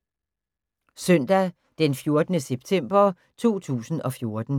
Søndag d. 14. september 2014